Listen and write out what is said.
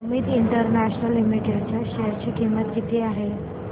Amit international limited च्या share ची किंमत किती आहे